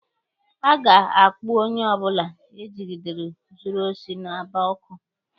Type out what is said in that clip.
A ga-akpụ onye ọbụla egidere zuru osi n'Aba ọkụ.